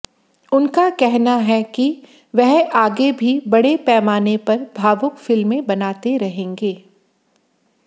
उनका कहना है कि वह आगे भी बड़े पैमाने पर भावुक फिल्में बनाते रहेंगे